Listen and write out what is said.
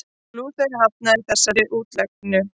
Lúther hafnaði þessari útleggingu.